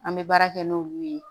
An bɛ baara kɛ n'olu ye